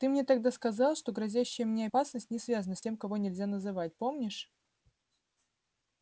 ты мне тогда сказал что грозящая мне опасность не связана с тем-кого-нельзя-называть помнишь